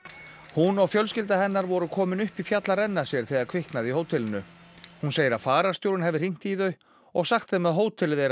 hún og fjölskylda hennar voru komin upp í fjall að renna sér þegar kviknaði í hótelinu hún segir að fararstjórinn hafi hringt í þau og sagt þeim að hótelið þeirra